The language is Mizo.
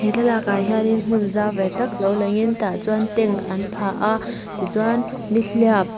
thlalakah hianin hmun zau ve tak lo langin tah chuan tent an phah a tichuan nihliap --